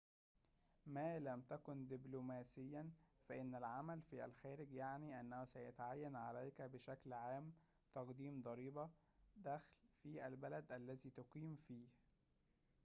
ما لم تكن دبلوماسيًا فإن العمل في الخارج يعني أنه سيتعين عليك بشكلٍ عامٍ تقديم ضريبةِ دخلٍ في البلد الذي تُقيم فيه